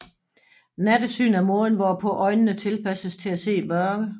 Nattesyn er måden hvorpå øjnene tilpasses til at se i mørke